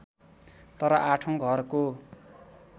तर आठौँ घरको